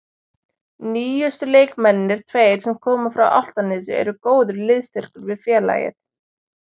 Nýjustu leikmennirnir tveir sem koma frá Álftanesi eru góður liðsstyrkur við félagið.